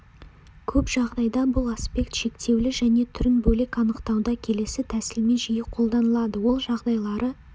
көп жағдайда бұл аспект шектеулі және түрін бөлек анықтауда келесі тәсілмен жиі қолданылады ол жағдайлары